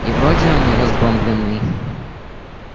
и вроде он не разбомблённый